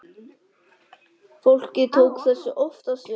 Fólkið tók þessu oftast vel.